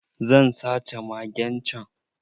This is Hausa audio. Zan sace magen can.